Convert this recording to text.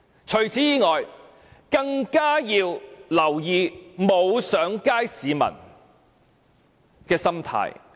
此外，政府更要留意沒有上街的市民的心態。